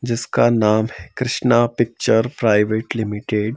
जिसका नाम है कृष्णा पिक्चर प्राइवेट लिमिटेड ।